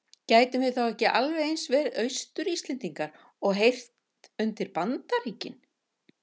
Gætum við þá ekki alveg eins verið Austur-Íslendingar og heyrt undir Bandaríkin?